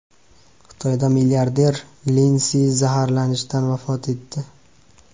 Xitoyda milliarder Lin Si zaharlanishdan vafot etdi.